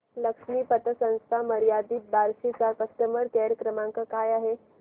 लक्ष्मी पतसंस्था मर्यादित बार्शी चा कस्टमर केअर क्रमांक काय आहे